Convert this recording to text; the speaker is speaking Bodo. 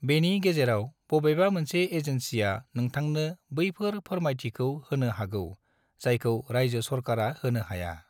बेनि गेजेराव बबेबा मोनसे एजेन्सिआ नोंथांनो बैफोर फोरमायथिखौ होनो हागौ जायखौ रायजो सरकारा होनो हाया।